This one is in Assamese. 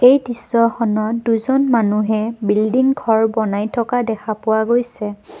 এই দৃশ্যখনত দুজন মানুহে বিল্ডিং ঘৰ বনাই থকা দেখিবলৈ পোৱা গৈছে।